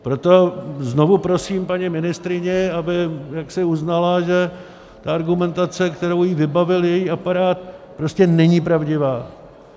Proto znovu prosím paní ministryni, aby jaksi uznala, že ta argumentace, kterou jí vybavil její aparát, prostě není pravdivá.